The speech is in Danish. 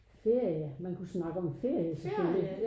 Ferie man kunne snakke om ferie selvfølgelig